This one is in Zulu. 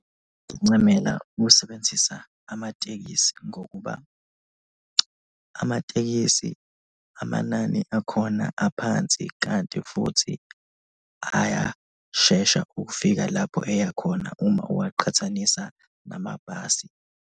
Ngincamela ukusebenzisa amatekisi ngokuba amatekisi amanani akhona aphansi kanti futhi ayashesha ukufika lapho eya khona uma uwaqhathanisa namabhasi.